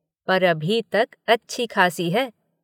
पर अभी तक अच्छी खासी है।